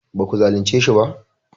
ba ku zalince shi ba?